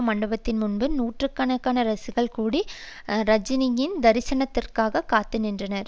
மண்டபத்தின்முன்பு நூற்று கணக்கான ரசிகர்கள் கூடி ரஜினியின் தரிதனத்திற்காக காத்துநின்றனர்